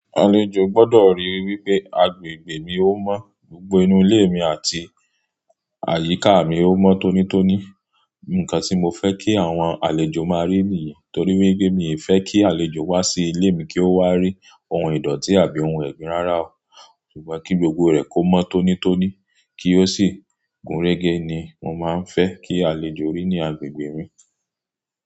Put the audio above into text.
Àlejò gbọ́dọ̀ rí i wí pé agbègbè mi ó mọ́, gbogbo inú ilé mi àti àyíká mi ó mọ́ tónítóní. Ǹǹkan tí mo fẹ́ kí àwọn àlejò máa rí nìyẹn. Torí wí pé mí ò fẹ́ kí àlejò wá sí ilé mi kí ó wá rí ohun ìdọ̀tí àbí ohun ẹ̀gín rárá o. Ṣùgbọ́n kí gbogbo rẹ̀ kó mọ́ tónítóní kí ó sì gúnrégé ni mo máa ń fẹ́ kí àlejò rí ní agbègbè mi.